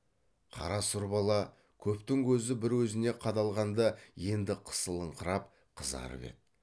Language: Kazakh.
қара сұр бала көптің көзі бір өзіне қадалғанда енді қысылыңқырап қызарып еді